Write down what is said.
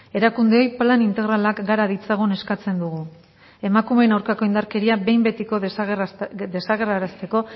erakundeei plan integralak gara ditzagun eskatzen dugu emakumeen aurkako indarkeria behin betiko desagerrarazteko